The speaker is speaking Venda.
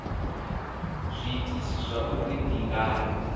zwiitisi zwa uri ndi ngani